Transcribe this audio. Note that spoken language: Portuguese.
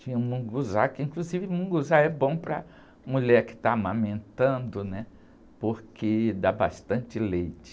Tinha o mungunzá, que inclusive o mungunzá é bom para a mulher que está amamentando, né? Porque dá bastante leite.